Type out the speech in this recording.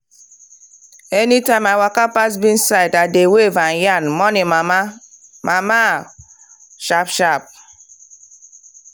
anytime i waka pass beans side i dey wave and yarn “morning mama!” mama!” sharp-sharp.